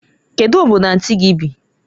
Kedu Obodo anti gi bi?